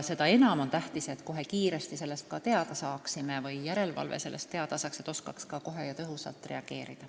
Seda enam on tähtis, et me saaksime niisugustest asjadest kohe teada, et järelevalve oskaks kiiresti ja tõhusalt reageerida.